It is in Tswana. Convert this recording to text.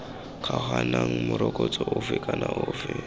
kgaoganang morokotso ofe kana ofe